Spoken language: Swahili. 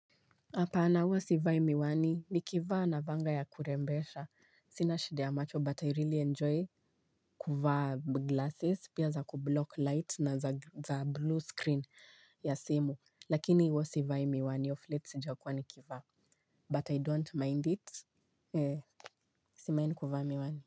Hapana huwa sivai miwani ni kivaa navaanga ya kurembesha. Sina shida ya macho but i really enjoy kuvaa glasses pia za kublock light na za blue screen ya simu lakini wo sivai miwani of late sijakua nikivaa but i don't mind it ee si mind kuvaa miwani.